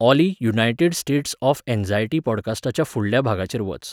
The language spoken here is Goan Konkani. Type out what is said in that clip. Ollie United States of Anxiety पॉडकास्टाच्या फुडल्या भागाचेर वच